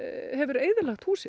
hefur eyðilagt húsin